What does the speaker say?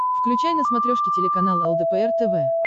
включай на смотрешке телеканал лдпр тв